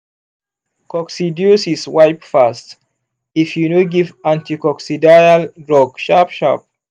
coccidiosis wipe fast if you no give anticoccidial drug sharp-sharp.